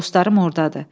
Dostlarım ordadır.